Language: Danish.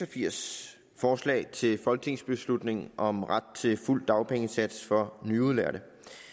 og firs forslag til folketingsbeslutning om ret til fuld dagpengesats for nyudlærte